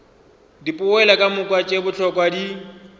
dipoelo kamoka tše bohlokwa di